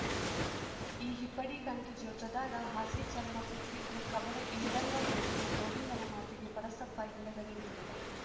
ಈ ಹಿಪ್ಪಡಿ ಕಂಟಿ ಜೋತ್ರದಾಗ ಹಾಸಿ ಚರ್ಮ ಕುಕ್ಕಿದ್ದು ಖಬರ ಇಲ್ದಂಗ ಓಡ್ತಿ ಗೋವಿಂದನ ಮಾತಿಗೆ ಪರಸಪ್ಪ ಹಿಂದಗಡೆ ನೋಡಿದ